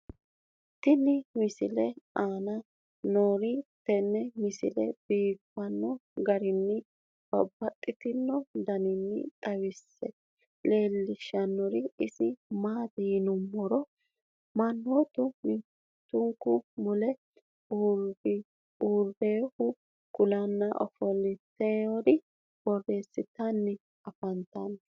tenne misile aana noorina tini misile biiffanno garinni babaxxinno daniinni xawisse leelishanori isi maati yinummoro manoottu mittunku mule uurinohu kulanna ofolitturi borreessittanni affanttanno